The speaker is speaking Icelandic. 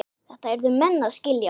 Þetta yrðu menn að skilja.